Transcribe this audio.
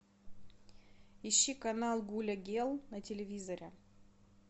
ищи канал гуля гел на телевизоре